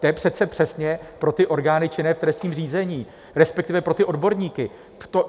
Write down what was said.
To je přece přesně pro ty orgány činné v trestním řízení, respektive pro ty odborníky.